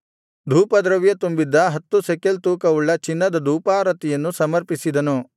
ಧೂಪದ್ರವ್ಯ ತುಂಬಿದ್ದ ಹತ್ತು ಶೆಕೆಲ್ ತೂಕವುಳ್ಳ ಚಿನ್ನದ ಧೂಪಾರತಿಯನ್ನು ಸಮರ್ಪಿಸಿದನು